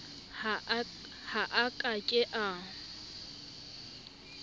ha a ka ke a